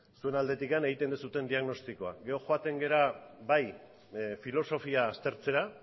zuen aldetik egiten duzuen diagnostikoa gero joaten gara bai filosofiaz aztertzera